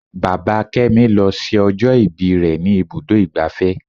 Bàbá kémi lọ ṣe ọjọ́ ìbí rẹ ní ibùdó igbàfẹ́.